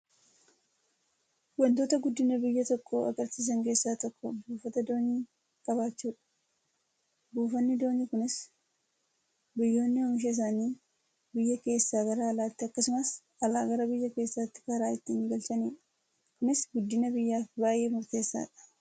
Wantoota guddina biyya tokkoo agarsiisan keessaa tokko buufata doonii qabaachuudha. Buufanni doonii kunis biyyoonni oomisha isaanii biyya keessaa gara alaatti akkasumas alaa gara biyya keessaatti karaa ittiin galchanidha. Kunis guddina biyyaaf baay'ee murteessaadha.